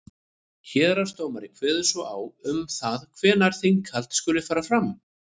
héraðsdómari kveður svo á um það hvenær þinghald skuli fara fram